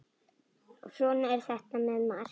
Svona er þetta með margt.